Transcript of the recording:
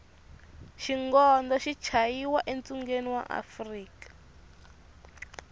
xigondo xi chayiwa e tshungeni wa afrika